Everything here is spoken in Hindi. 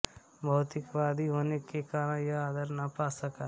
भौतिकवादी होने के कारण यह आदर न पा सका